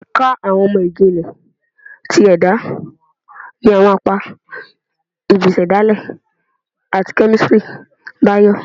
Ẹka Awọn imọ-jinlẹ ti Ẹda ni awọn apa bii Isedale ati Kemistri Bio